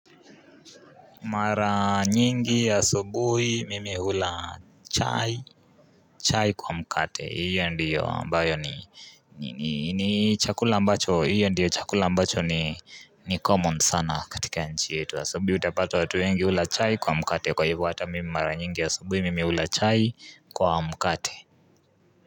Mara nyingi asubuhi mimi hula chai chai kwa mkate hiyo ndiyo ambayo ni ni ni chakula mbacho hiyo ndiyo chakula mbacho ni ni common sana katika nchi yetu asubuhi utapata watu wengi hula chai kwa mkate kwa hiyu hata mimi mara nyingi asubuhi mimi hula chai kwa mkate.